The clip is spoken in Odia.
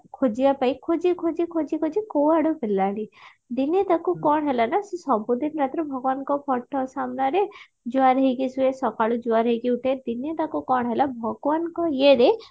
ଖୋଜିବା ପାଇଁ ଖୋଜି ଖୋଜି ଖୋଜି ଖୋଜି କୁଆଡୁ ମିଳିଲାନି ଦିନେ ତାକୁ କଣ ହେଲା ନା ସେ ସବୁଦିନ ରାତିରେ ଭଗବାନଙ୍କ photo ସାମ୍ନାରେ ଜୁହାର ହେଇକି ସୁଏ ସକାଳୁ ଜୁହାର ହେଇକି ଉଠେ ଦିନେ ତାକୁ କଣ ହେଲା ଭଗବାନଙ୍କ ଇଏ ରେ